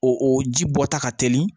O o ji bɔta ka teli